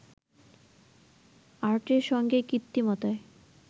আর্টের সঙ্গে কৃত্রিমতার